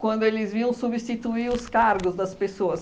quando eles vinham substituir os cargos das pessoas.